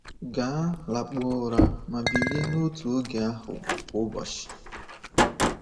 Gaa lakpuo ụra ma bilie n’otu oge ahụ kwa ụbọchị.